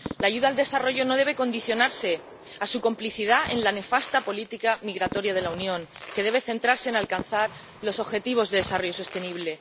La ayuda al desarrollo no debe condicionarse a su complicidad en la nefasta política migratoria de la Unión, que debe centrarse en alcanzar los objetivos de desarrollo sostenible.